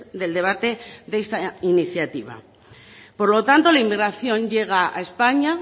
del debate de esta iniciativa por lo tanto la inmigración llega a españa